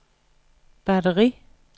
batteri